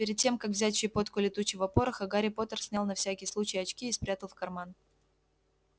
перед тем как взять щепотку летучего пороха гарри поттер снял на всякий случай очки и спрятал в карман